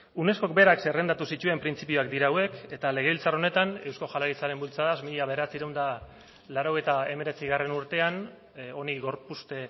unescok berak zerrendatu zituen printzipioak dira hauek eta legebiltzar honetan eusko jaurlaritzaren bultzadaz mila bederatziehun eta laurogeita hemeretzigarrena urtean honi gorpuzte